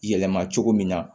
Yɛlɛma cogo min na